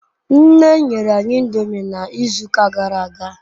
Nne nyere anyi ndomi n'izu uka gara aga